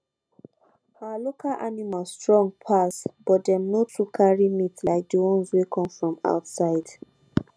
our local animals strong pass but dem no too carry meat like the ones wey come from outside